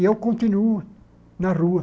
E eu continuo na rua.